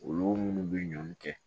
Olu minnu bɛ ɲɔn kɛ